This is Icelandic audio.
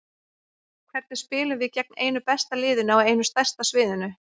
Hvernig spilum við gegn einu besta liðinu á einu stærsta sviðinu?